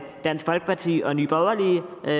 dansk folkeparti og nye borgerlige og